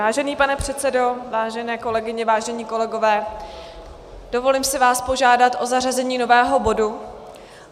Vážený pane předsedo, vážené kolegyně, vážení kolegové, dovolím si vás požádat o zařazení nového bodu.